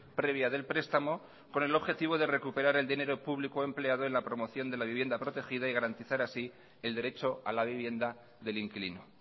previa del prestamo con el objetivo de recuperar el dinero público empleado en la promoción de la vivienda protegida y garantizar así el derecho a la vivienda del inquilino